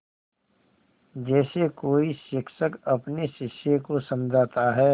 जैसे कोई शिक्षक अपने शिष्य को समझाता है